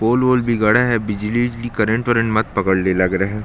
पोल वोल भी गड़ा है बिजली विजली करंट वरेंट मत पकड़ ले लग रहा है।